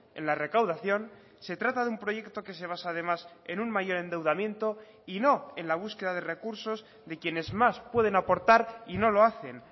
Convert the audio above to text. en la recaudación se trata de un proyecto que se basa además en un mayor endeudamiento y no en la búsqueda de recursos de quienes más pueden aportar y no lo hacen